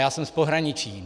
Já jsem z pohraničí.